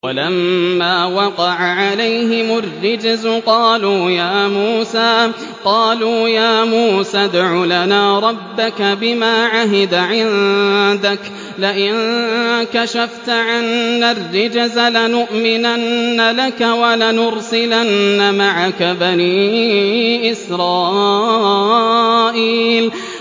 وَلَمَّا وَقَعَ عَلَيْهِمُ الرِّجْزُ قَالُوا يَا مُوسَى ادْعُ لَنَا رَبَّكَ بِمَا عَهِدَ عِندَكَ ۖ لَئِن كَشَفْتَ عَنَّا الرِّجْزَ لَنُؤْمِنَنَّ لَكَ وَلَنُرْسِلَنَّ مَعَكَ بَنِي إِسْرَائِيلَ